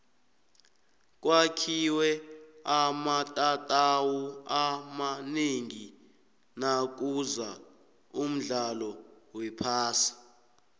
kwakhiwe amatatawu amanengi nakuza umdlalo wephasi